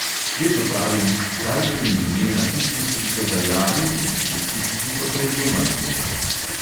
Vedno pravim, dajte mi imena tistih, ki so dajali, in tistih, ki so prejemali denar.